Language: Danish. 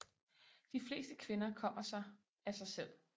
De fleste kvinder kommer sig af sig selv